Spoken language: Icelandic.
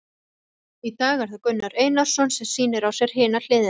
Í dag er það Gunnar Einarsson sem að sýnir á sér hina hliðina.